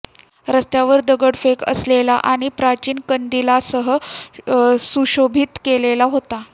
रस्त्यावर दगडफेक असलेला आणि प्राचीन कंदीलांसह सुशोभित केलेला होता